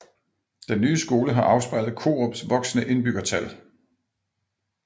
Den nye skole har afspejlet Korups voksende indbyggertal